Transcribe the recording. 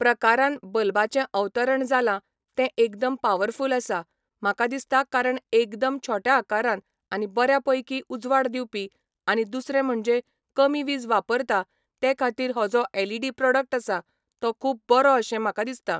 प्रकारान बल्बाचे अवतरण जाला ते एकदम पावरफूल आसा म्हाका दिसता कारण एकदम छोट्या आकारान आनी बऱ्या पैकी उजवाड दिवपी आनी दुसरे म्हणजे कमी वीज वापरता ते खातीर हो जो एलइडी प्रॉडक्ट आसा तो खूब बरो अशें म्हाका दिसता